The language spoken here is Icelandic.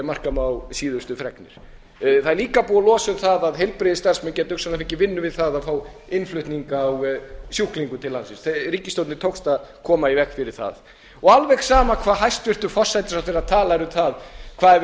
ef marka má síðustu fregnir það er líka búið að losa um það að heilbrigðisstarfsmenn geti hugsanlega líka fengið vinnu við það að fá innflutning á sjúklingum til landsins ríkisstjórninni tókst að koma í veg fyrir það það er alveg sama hvað hæstvirtur forsætisráðherra talar um það hvað er